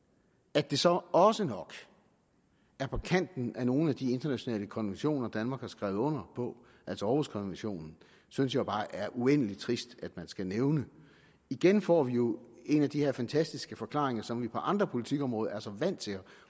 at det så også nok er på kanten af nogle af de internationale konventioner danmark har skrevet under på altså århuskonventionen synes jeg bare er uendelig trist at man skal nævne igen får vi jo en af de her fantastiske forklaringer som vi på andre politikområder er så vant til at